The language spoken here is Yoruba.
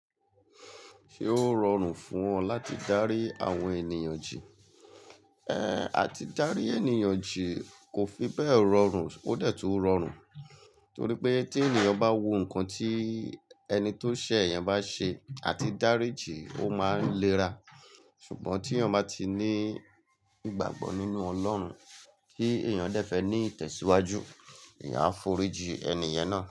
Ṣé ó rọrùn fún ọ láti dárí àwọn ènìyàn jì? Ẹh àti dárí ènìyàn jì kò fi bẹ́ẹ̀ rọrùn, ó dẹ̀ tu rọrùn torí pé tí ènìyàn bá wo nǹkan tí ẹni tó ṣẹ̀ yẹn bá ṣe àti dárí jì, ó máa ń léra. Ṣùgbọ́n tí yàn bá ti ní ìgbàgbọ́ nínú Ọlọ́run kí ènìyàn dẹ́ fẹ̀ẹ́ ní ìtẹ̀síwájú, eeyàn á forí jì ẹni yẹn náà.